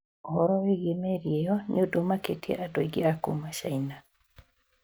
ũhoro wĩgiĩ meri ĩyo nĩ ũndũ ũmakĩtie andũ aingĩ a kuma China.